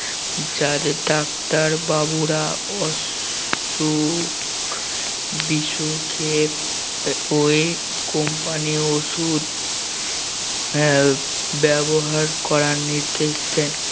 যাদের ডাক্তার বাবুরা অসুখ বিসুখে আহ ওই company র ঔষধ হ্যাঁ ব্যবহার করার নির্দেশ দেন